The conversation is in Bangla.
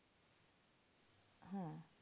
হ্যাঁ